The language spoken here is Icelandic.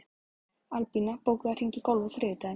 Albína, bókaðu hring í golf á þriðjudaginn.